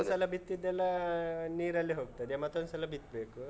ಒಂದ್ಸಲ ಬಿತ್ತಿದ್ದೆಲ್ಲ ನೀರಲ್ಲಿ ಹೋಗ್ತದೆ ಮತ್ತೊಂದ್ಸಲ ಬಿತ್ಬೇಕು.